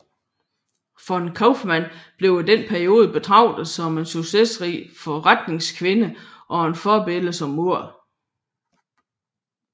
Von Kauffmann blev i denne periode betragtet som en succesrig forretningskvinde og et forbillede som mor